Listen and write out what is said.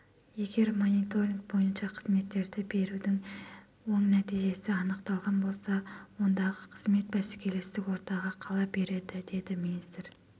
егер мониторинг бойынша қызметтерді берудің оң нәтижесі анықталған болса ондақызмет бәсекелестік ортада қала береді деді министр